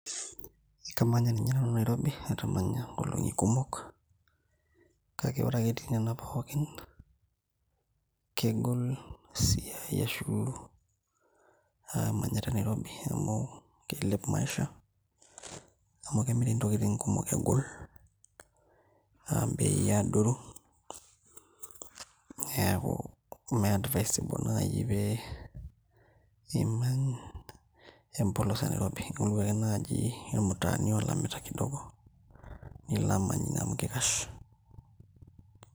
Kamanya ninye nanu nairobi atamanya inkolong'i kumok kake ore ake etii nana pookin kegol esiai ashu uh imanyita nairobi amu keilep maisha amu kemiri inokiting kumok egol uh imbei adoru neeku ime advisable naaji pee imany empolos e nairobi ing'oru ake naaji irmtaani olamita kidogo nilo amany ine amu kikash.